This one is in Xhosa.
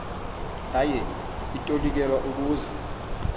yaye itolikelwa ukuze